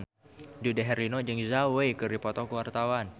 Dude Herlino jeung Zhao Wei keur dipoto ku wartawan